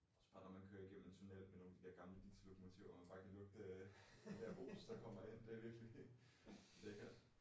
Synes bare når man kører gennem en tunnel med nogle af de der gamle diesellokomotiver og man bare kan lugte det der os der kommer ind det er virkelig ikke